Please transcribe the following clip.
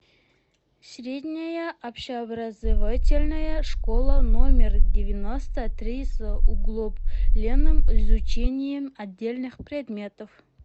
средняя общеобразовательная школа номер девяносто три с углубленным изучением отдельных предметов